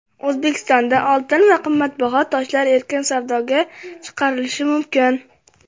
O‘zbekistonda oltin va qimmatbaho toshlar erkin savdoga chiqarilishi mumkin.